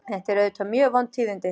Þetta eru auðvitað mjög vond tíðindi